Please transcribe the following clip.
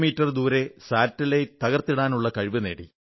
me ദൂരെയുള്ള ഒരു ഉപഗ്രഹം തകർത്തിടാനുള്ള കഴിവു നേടി